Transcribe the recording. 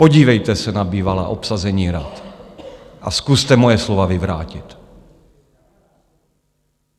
Podívejte se na bývalá obsazení rad a zkuste moje slova vyvrátit.